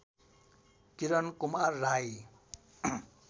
Kiran Kumar Rai